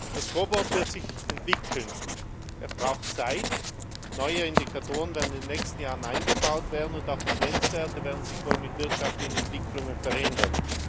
Das scoreboard wird sich entwickeln. Es braucht Zeit, neue Indikatoren werden in den nächsten Jahren eingebaut werden, und auch die Grenzwerte werden sich wohl mit wirtschaftlichen Entwicklungen verändern.